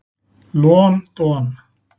Lon don.